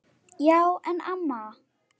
Já en amma.